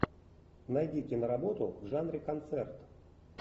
найди киноработу в жанре концерт